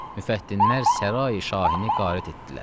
Müfəttinlər sarayi şahini qarit etdilər.